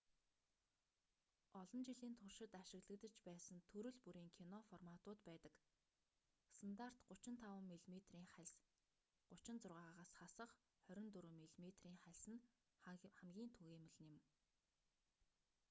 олон жилийн туршид ашиглагдаж байсан төрөл бүрийн кино форматууд байдаг. стандарт 35 мм-ийн хальс 36-аас хасах 24 мм-ийн хальс нь хамгийн түгээмэл нь юм